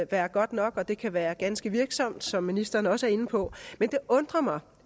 være godt nok og det kan være ganske virksomt som ministeren også er inde på men det undrer mig